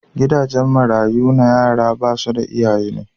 Gidajen marayu na yaran da basu da iyaye ne.